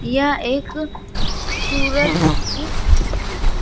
यह एक सूरज सी --